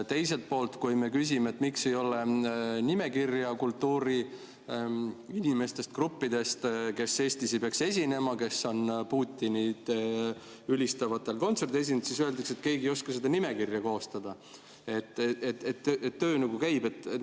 Teiselt poolt, kui me küsime, miks ei ole nimekirja kultuuriinimestest, gruppidest, kes Eestis ei peaks esinema, kes on Putinit ülistavatel kontsertidel esinenud, siis öeldakse, et keegi ei oska seda nimekirja koostada, aga töö nagu käib.